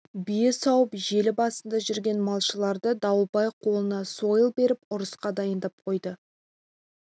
бие сауып желі басында жүрген малшыларды дауылбай қолына сойыл беріп ұрысқа дайындап қойды